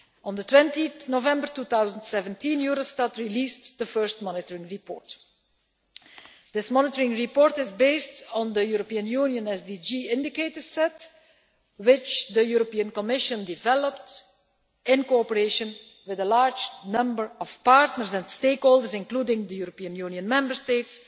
On 20 November 2017, Eurostat released the first monitoring report. This monitoring report is based on the European Union SDG indicator set, which the Commission developed in cooperation with a large number of partners and stakeholders, including the European Union Member States,